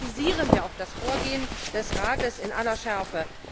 Deswegen kritisieren wir auch das Vorgehen des Rats in aller Schärfe.